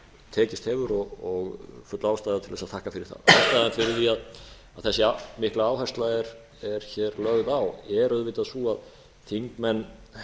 tekist hefur og full ástæða til að þakka fyrir það ástæðan fyrir því að þessi mikla áhersla er hér lögð á er auðvitað sú að þingmenn